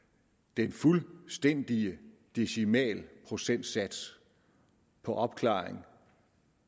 den fuldstændige decimalprocentsats for opklaring